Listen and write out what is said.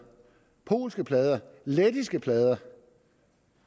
polske plader lettiske plader